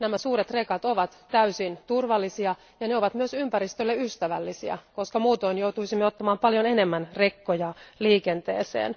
Nämä suuret rekat ovat täysin turvallisia ja ne ovat myös ympäristölle ystävällisiä, koska muutoin joutuisimme ottamaan paljon enemmän rekkoja liikenteeseen.